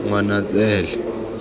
ngwanatsele